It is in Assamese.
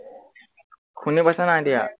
শুনি পাইছ নাই এতিয়া